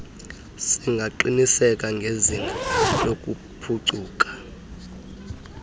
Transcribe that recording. singaqiniseka ngezinga lokuphucuka